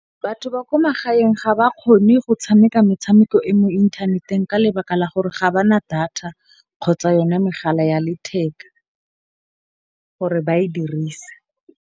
Batho ba ko magaeng ga ba kgone go tshameka metshameko e mo inthaneteng, ka lebaka la gore ga bana data kgotsa yone megala ya letheka gore ba e dirise.